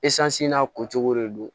n'a ko cogo de don